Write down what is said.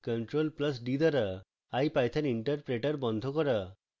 ctrl + d দ্বারা ipython interpreter বন্ধ করা